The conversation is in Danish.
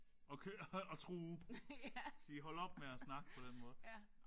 Og køre og true. Og sige hold op med at snakke på den måde